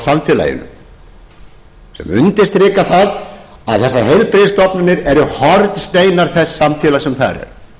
samfélaginu sem undirstrika það að þessar heilbrigðisstofnanir eru hornsteinar þess samfélags sem þar